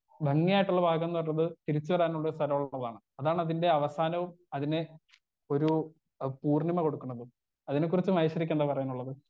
Speaker 1 ഭംഗിയായിട്ടുള്ള ഭാഗംന്ന് പറഞ്ഞത് തിരിച്ചുവരാനുള്ള ഒരു സ്ഥലം ഉള്ളതാണ് അതാണ് അതിന്റെ അവസാനവും അതിനെ ഒരു പൂർണിമ കൊടുക്കുന്നതും അതിനെക്കുറിച്ച് മഹേശ്വരിക്കെന്താണ് പറയാനുള്ളത്.